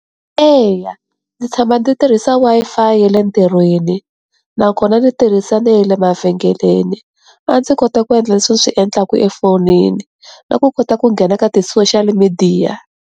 Eya, ndzi tshama ndzi tirhisa Wi-Fi ya le ntirhweni nakona ni tirhisa na ya le mavhengeleni a ndzi kota ku endla leswi swi endlaka efonini na ku kota ku nghena ka tisoshali midiya.